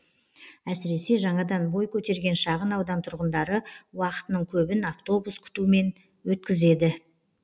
әсіресе жаңадан бой көтерген шағын аудан тұрғындары уақытының көбін автобус күтумен өткізеді